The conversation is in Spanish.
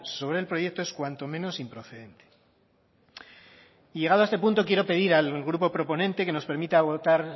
sobre el proyecto es cuanto menos improcedente y llegado a este punto quiero pedir al grupo proponente que nos permita votar